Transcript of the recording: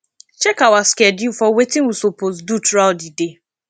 check our schedule for wetin we suppose do throughout di day